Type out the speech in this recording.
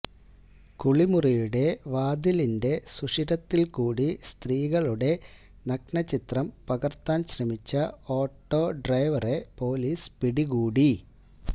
കുളിമുറിയുടെ വാതിലിന്റെ സുഷിരത്തിൽകൂടി സ്ത്രീകളുടെ നഗ്നചിത്രം പകർത്താൻ ശ്രമിച്ച ഓട്ടോ ഡ്രൈവറെ പോലീസ് പിടികൂടി